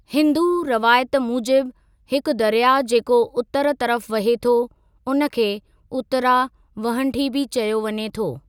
हिन्दू रवायत मूजिबि हिकु दरयाह जेको उतरु तर्फ़ु वहे थो, उन खे उत्तरा वहंठी बि चयो वञे थो।